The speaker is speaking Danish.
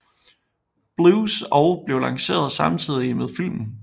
Blues og blev lanceret samtidig med filmen